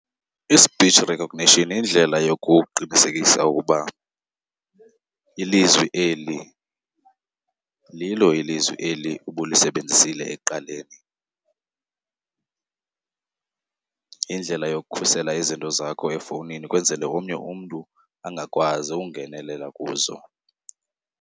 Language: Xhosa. I-speech recognition yindlela yokuqinisekisa ukuba ilizwi eli lilo ilizwe eli ubulisebenzisile ekuqaleni. Yindlela yokukhusela izinto zakho efowunini ukwenzela omnye umntu angakwazi ukungenelela kuzo.